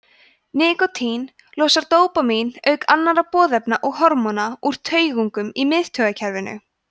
nikótín losar dópamín auk annarra boðefna og hormóna úr taugungum í miðtaugakerfinu